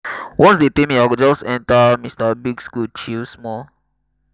um i carry di moni wey enta my hand carry my pikin dey go um shoprite.